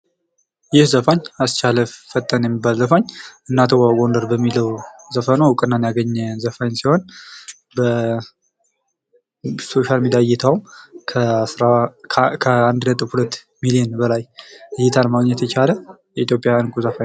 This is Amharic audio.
ይህ ዘፋኝ አስቻለ ፈጠነ የሚባል ዘፋኝ እናትዋ ጎንደር በሚለው ዘፈኑ እውቅናን ያገኘ ዘፋኝ ሲሆን በሶሻል ሚዲያ እይታው ከ አንድ ነጥብ ሁለት ሚሊዮን በላይ እይታን ማግኘት የቻለ የኢትዮጵያ እንቁ ዘፋኝ ነው።